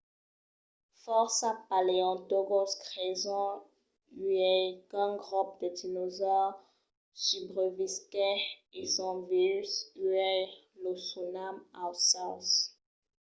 fòrça paleontològs creson uèi qu'un grop de dinosaures subrevisquèt e son vius uèi. los sonam aucèls